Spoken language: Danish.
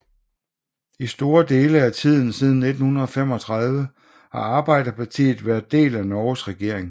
I store dele af tiden siden 1935 har Arbeiderpartiet været del af Norges regering